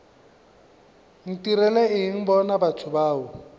ntirela eng bona batho bao